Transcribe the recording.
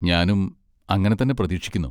ഞാനും അങ്ങനെ തന്നെ പ്രതീക്ഷിക്കുന്നു,